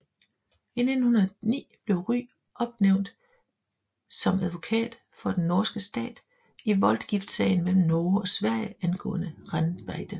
I 1909 blev Rygh opnævnt som advokat for den norske stat i voldgiftssagen mellem Norge og Sverige angående renbeite